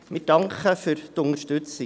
Wir danken für die Unterstützung.